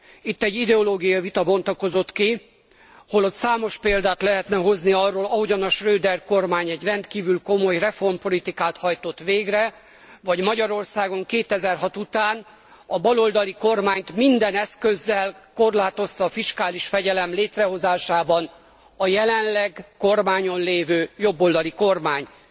Itt egy ideológiai vita bontakozott ki, holott számos példát lehetne hozni arról, ahogyan Schroeder kormány egy rendkívül komoly reformpolitikát hajtott végre, vagy Magyarországon 2006 után a baloldali kormányt minden eszközzel korlátozta a fiskális fegyelem létrehozásában a jelenleg kormányon lévő jobboldali kormány.